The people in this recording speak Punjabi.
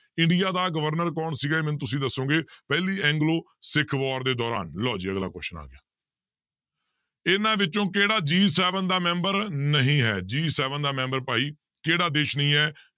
ਇੰਡੀਆ ਦਾ ਗਵਰਨਰ ਕੌਣ ਸੀਗਾ ਇਹ ਮੈਨੂੰ ਤੁਸੀਂ ਦੱਸੋਗੇ ਪਹਿਲੀ ਐਗਲੋ ਸਿੱਖ war ਦੇ ਦੌਰਾਨ ਲਓ ਜੀ ਅਗਲਾ question ਆ ਗਿਆ ਇਹਨਾਂ ਵਿੱਚੋਂ ਕਿਹੜਾ G seven ਦਾ ਮੈਂਬਰ ਨਹੀਂ ਹੈ G seven ਦਾ ਮੈਂਬਰ ਭਾਈ ਕਿਹੜਾ ਦੇਸ ਨਹੀਂ ਹੈ